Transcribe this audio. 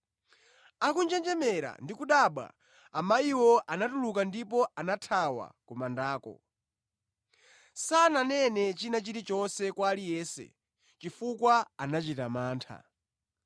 Akunjenjemera ndi kudabwa, amayiwo anatuluka ndipo anathawa ku mandako. Sananene china chilichonse kwa aliyense, chifukwa anachita mantha.